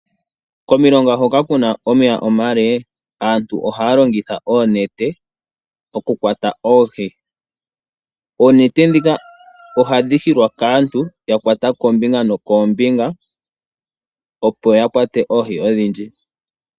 Komilonga hoka ku na omeya omale aantu ohaya longitha oonete okukwata oohi. Oonete ndhika ohadhi hilwa kaantu ya kwata kombinga nokombinga, opo ya kwate oohi odhindji.